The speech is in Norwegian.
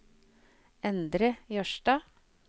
Endre Jørstad